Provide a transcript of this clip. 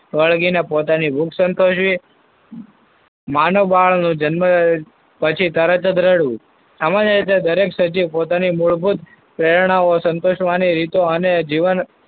વળગીને પોતાની ભૂખ સંતોષવી. માનવ બાળનો જન્મ પછી તરત જ રડવું. સામાન્ય રીતે દરેક સજીવ પોતાની મૂળભૂત પ્રેરણાઓ સંતોષવાની રીતો અને જીવન,